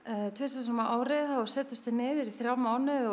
tvisvar sinnum á ári þá setjumst við niður í þrjá mánuði og